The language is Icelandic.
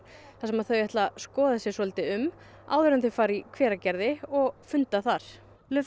þar sem þau ætla að skoða sig svolítið um áður en þau fara í Hveragerði og funda þar